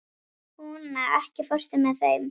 Húna, ekki fórstu með þeim?